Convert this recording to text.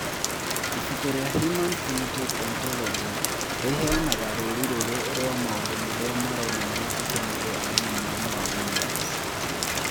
Ibuku rĩa Human Phenotype Ontology rĩheanaga rũũri rũrũ rwa maũndũ marĩa maronania atĩ mũndũ arĩ na mũrimũ wa Williams.